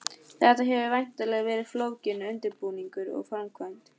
Þetta hefur væntanlega verið flókinn undirbúningur og framkvæmd?